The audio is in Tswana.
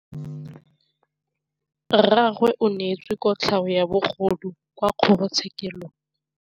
Rragwe o neetswe kotlhaô ya bogodu kwa kgoro tshêkêlông.